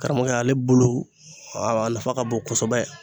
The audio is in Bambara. Karamɔgɔ y'ale bolo a nafa ka bon kosɛbɛ